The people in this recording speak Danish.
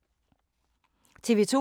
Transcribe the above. TV 2